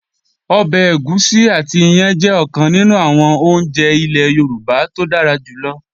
Ọbẹ̀ ẹ̀gúsí àti iyán jẹ́ ọ̀kan nínú àwọn oúnjẹ ilẹ́ Yorùbá tó dára jù lọ